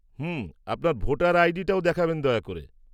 হুঁ। আপনার ভোটার আইডিটাও দেখাবেন দয়া করে।